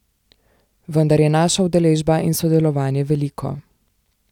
Vendar je naša udeležba in sodelovanje veliko.